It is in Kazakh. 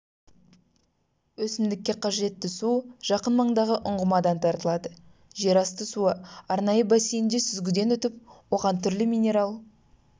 өсімдікке қажетті су жақын маңдағы ұңғымадан тартылады жерасты суы арнайы бассейнде сүзгіден өтіп оған түрлі минерал